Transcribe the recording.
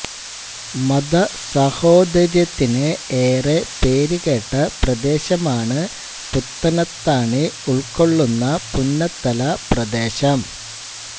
മത സഹോദര്യത്തിനു ഏറെ പേര് കേട്ട പ്രദേശമാണ് പുത്തനത്താണി ഉൾകൊള്ളുന്ന പുന്നത്തല പ്രദേശം